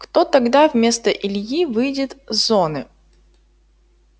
кто тогда вместо ильи выйдет с зоны